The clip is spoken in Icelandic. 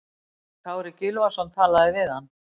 Kári Gylfason talaði við hann.